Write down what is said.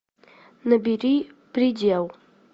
набери предел